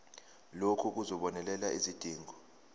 lokhu kuzobonelela izidingo